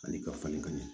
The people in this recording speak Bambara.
Ani ka falen ka ɲɛ